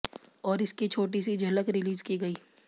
और इसकी छोटी सी झलक रिलीज़ की गई